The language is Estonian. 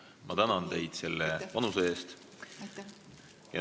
Ma tänan teid teie panuse eest!